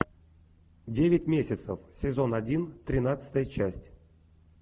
девять месяцев сезон один тринадцатая часть